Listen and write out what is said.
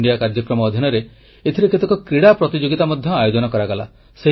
Khelo India କାର୍ଯ୍ୟକ୍ରମ ଅଧିନରେ ଏଥିରେ କେତେକ କ୍ରୀଡ଼ା ପ୍ରତିଯୋଗିତା ମଧ୍ୟ ଆୟୋଜନ କରାଗଲା